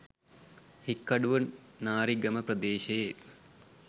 හික්කඩුව නාරිගම ප්‍රදේශයේ